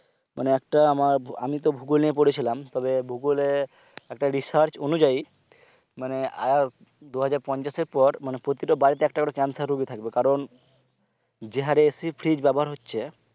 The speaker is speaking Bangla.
মানে একটা আমার আমি তো ভূগোল নিয়ে পড়েছিলাম তবে ভূগোলে একটা research অনুযায়ী মানে আর দুইহাজার পঞ্চাশের পর প্রতিটা বাড়িতে একটা করে cancer রুগী থাকবে কারণ যে হারে AC fridge ব্যবহার হচ্ছে